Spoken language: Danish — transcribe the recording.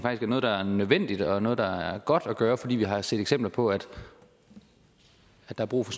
er noget der er nødvendigt og noget der er godt at gøre altså fordi vi har set eksempler på at der er brug for